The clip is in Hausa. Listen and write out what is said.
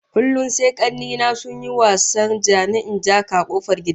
Kullum sai kanne na sun yi wasar ja-ni-in-ja-ka a kofar gida